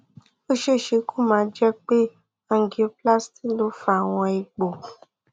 ó ṣeé ṣe kó má jẹ pé angioplasty ló fa àwọn egbò